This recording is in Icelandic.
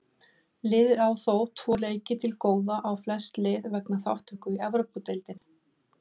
Liðið á þó tvo leiki til góða á flest lið vegna þátttöku í Evrópudeildinni.